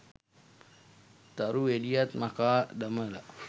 තරු එළියත් මකා දමල